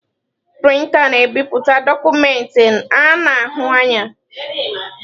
Prịnta na-ebipụta dọkụmentị a na-ahụ anya.